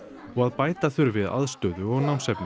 og að bæta þurfi aðstöðu og námsefni